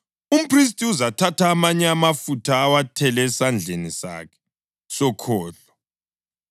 Umphristi uzathatha amanye amafutha, awathele esandleni sakhe sokhohlo,